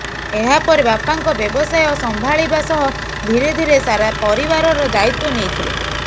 ଏହାପରେ ବାପାଙ୍କ ବ୍ୟବସାୟ ସମ୍ଭାଳିବା ସହ ଧୀରେଧୀରେ ସାରା ପରିବାରର ଦାୟିତ୍ୱ ନେଇଥିଲେ